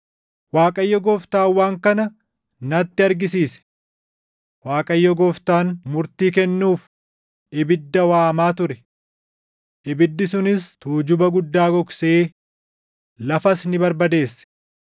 Waaqayyo Gooftaan waan kana natti argisiise; Waaqayyo Gooftaan murtii kennuuf ibidda waamaa ture; ibiddi sunis tuujuba guddaa gogsee lafas ni barbadeesse.